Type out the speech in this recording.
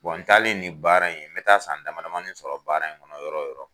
n talen ni baara in n bɛ taa san dama dmanin sɔrɔ baara in kɔnɔ yɔrɔ yɔrɔ